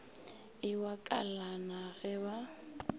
e wa kalana ge ba